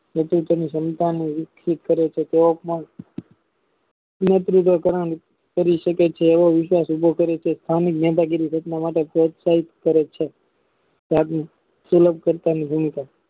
તે તેની સંતાનને વિકસિત કરે છે નેત્રી કરી શકે છે એ ઘટના માટે પ્રોત્સાહિત કરે છે